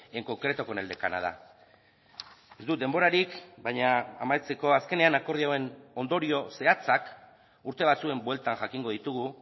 en concreto con el de canadá ez dut denborarik baina amaitzeko azkenean akordioen ondorio zehatzak urte batzuen bueltan jakingo ditugu